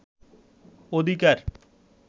অধিকার